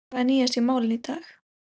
En hvað er nýjast í málinu í dag?